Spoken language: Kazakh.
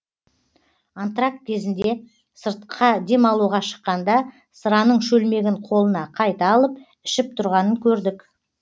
антракт кезінде сыртқа демалуға шыққанда сыраның шөлмегін қолына қайта алып ішіп тұрғанын көрдік